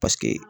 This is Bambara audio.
Paseke